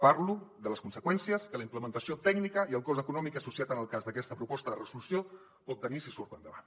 parlo de les conseqüències que la implementació tècnica i el cost econòmic associat en el cas d’aquesta proposta de resolució pot tenir si surt endavant